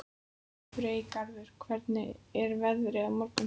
Freygarður, hvernig er veðrið á morgun?